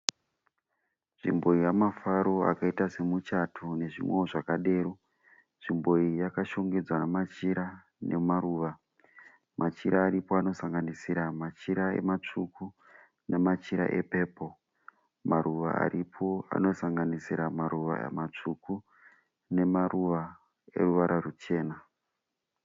Nzvimbo yamafaro akaita semuchato nezvimwewo zvakadero. Nzvimbo iyi yakashongedzwa machira nemaruva. Machira aripo anosanganisira machira matsvuku nemachira epepo. Maruva aripo anosanganisira maruva matsvuku nemaruva eruvara ruchena.